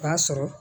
O b'a sɔrɔ